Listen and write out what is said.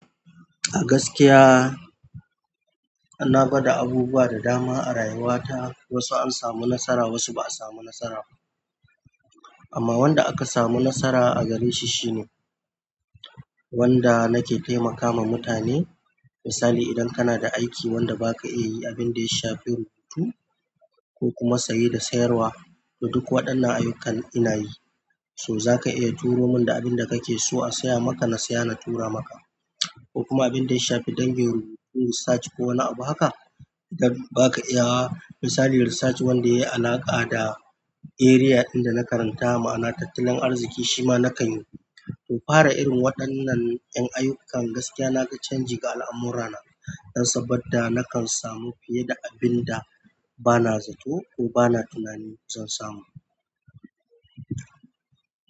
A gaskiya, ana bada abubuwa da dama a rayuwa ta. Wasu an samu nasara, wasu ba'a samu nasara ba. Amma wanda aka samu nasara a gare shi shine wanda nake taimakama mutane. Misali, idan kana da aiki wanda ba ka iya yi, abin da ya shafi rubutu ko kuma saye da sayarwa, to duk waɗannan ayyukan ina yi. Toh zaka iya turomin da abunda kake so asiya maka na siya in tura maka ko kuma abin da ya shafi dangin, research ko wani abu haka da ba ka iya. Misali research wanda yayi alaƙa da area inda na karanta, ma'ana tattalin arziki, shi ma na kan yi. Toh fara irin waɗannan en ayyukan gaskiya naga canci ga al'amura na dan saboda nakan samu fiye da abin da bana zato ko bana tunanin za samo.